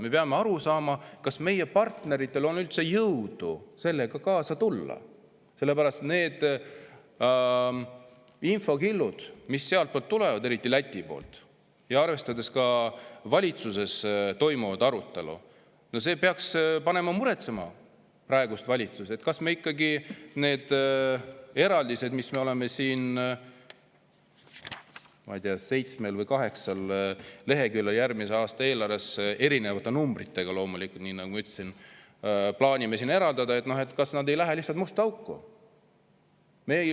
Me peame aru saama, kas meie partneritel on üldse jõudu sellega kaasa tulla, sest need infokillud, mis sealtpoolt tulevad, eriti Läti poolt, ja arvestades ka valitsuses toimuvat arutelu, peaksid panema praegust valitsust muretsema, kas ikkagi need eraldised, mis on, ma ei tea, seitsmel või kaheksal leheküljel järgmise aasta eelarves, erinevate numbritega loomulikult, nagu ütlesin, ja mida me plaanime eraldada, ei lähe lihtsalt musta auku.